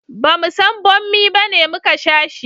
bamu san bommi bane muka sha shi